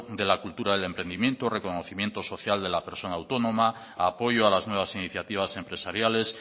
de la cultura del emprendimiento reconocimiento social de la persona autónoma apoyo a las nuevas iniciativas empresariales